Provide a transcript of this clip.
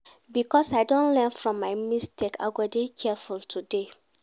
Because I don learn from my mistakes, I go dey careful today.